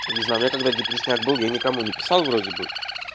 не знаю у меня когда депресняк был я никому не писал вроде бы